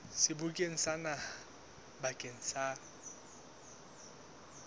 sebokeng sa naha bakeng sa